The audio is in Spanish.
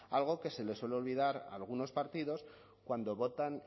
algo que se les suele olvidar a algunos partidos cuando votan